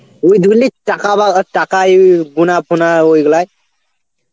ও ধরে নে টাকা বা টাকা এ গোনা ফোনা ওইগুলা.